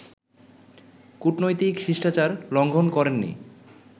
কুটনৈতিক শিষ্টাচার লঙ্ঘন করেননি